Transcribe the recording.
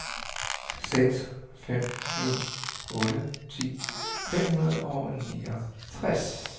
seks fem en otte ti fem hundrede og niogtres